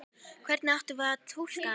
Hvernig áttum við að túlka hana?